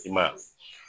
I ma ye